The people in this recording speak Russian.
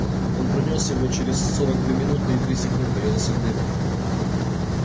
он принёс его через сорок две минуты и три секунды я засек время